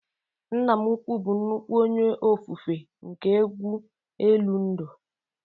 Nna m ukwuu bụ nnukwu onye ofufe nke egwu elu ndụ